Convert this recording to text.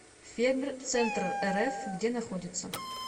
фермер центррф где находится